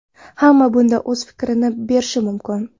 Hamma bunda o‘z fikrini berishi mumkin.